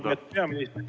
Lugupeetud peaminister!